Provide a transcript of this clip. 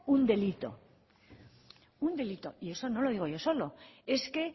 un delito un delito y eso no lo digo yo solo es que